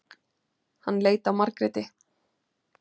Hann leit á Margréti.